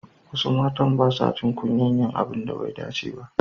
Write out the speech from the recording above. Wasu matan basa jin kunyar yin abun da bai dace ba.